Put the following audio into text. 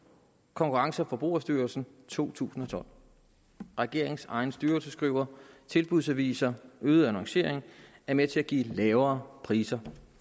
konkurrence og forbrugerstyrelsen to tusind og tolv regeringens egen styrelse skriver at tilbudsaviser øget annoncering er med til at give lavere priser